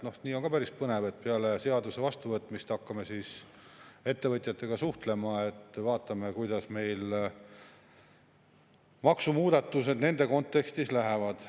Noh, nii on ka päris põnev, et peale seaduse vastuvõtmist hakkame ettevõtjatega suhtlema, siis vaatame, kuidas meil maksumuudatused nende kontekstis lähevad.